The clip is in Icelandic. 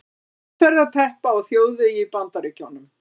Umferðarteppa á þjóðvegi í Bandaríkjunum.